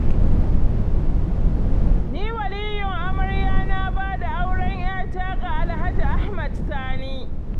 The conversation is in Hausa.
Ni waliyin amarya na bada auren ƴata ga Alhaji Ahmed Sani.